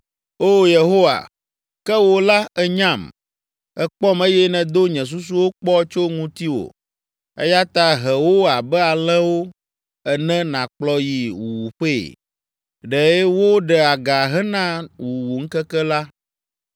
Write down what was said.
Oo, Yehowa, ke wò la ènyam, èkpɔm eye nèdo nye susuwo kpɔ tso ŋutiwò. Eya ta he wo abe alẽwo ene nàkplɔ yi wuwuƒee! Ɖe wo ɖe aga hena wuwuŋkeke la!